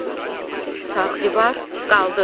Bu sağ divar, qaldır.